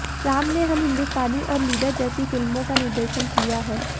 राम ने हम हिन्दुस्तानी और लीडर जैसी फिल्मों का निर्देशन किया है